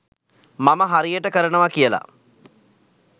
මම හරියට කරනවා කියලා.